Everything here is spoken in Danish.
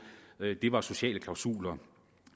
var de sociale klausuler